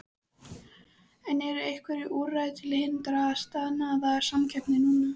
En eru einhver úrræði til að hindra staðnaða samkeppni núna?